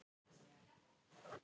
Þorvaldur Búason, viðtal